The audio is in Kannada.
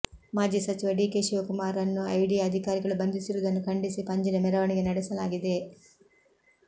ಮಾಜಿ ಸಚಿವ ಡಿಕೆ ಶಿವಕುಮಾರ್ ರನ್ನು ಇಡಿ ಅಧಿಕಾರಿಗಳು ಬಂಧಿಸಿರುವುದನ್ನು ಖಂಡಿಸಿ ಪಂಜಿನ ಮೆರವಣಿಗೆ ನಡೆಸಲಾಗಿದೆ